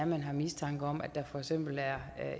man har mistanke om at der for eksempel er